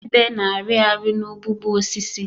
Ebe na-arị arị n'ụgbụgbọ osisi.